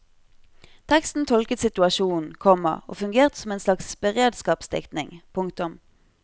Teksten tolket situasjonen, komma og fungerte som en slags beredskapsdiktning. punktum